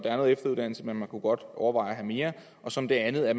er noget efteruddannelse men man kunne godt overveje at have mere og som det andet at